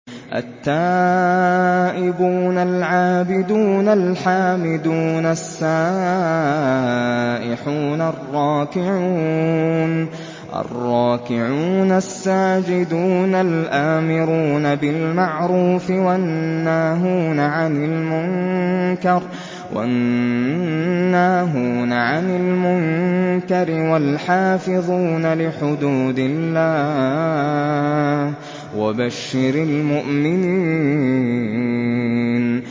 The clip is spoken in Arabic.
التَّائِبُونَ الْعَابِدُونَ الْحَامِدُونَ السَّائِحُونَ الرَّاكِعُونَ السَّاجِدُونَ الْآمِرُونَ بِالْمَعْرُوفِ وَالنَّاهُونَ عَنِ الْمُنكَرِ وَالْحَافِظُونَ لِحُدُودِ اللَّهِ ۗ وَبَشِّرِ الْمُؤْمِنِينَ